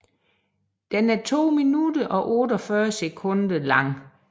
Den er 2 minutter og 48 sekunder lang